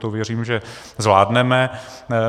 To věřím, že zvládneme.